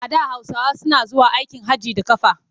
A da Hausawa suna zuwa aikin hajji da ƙafa.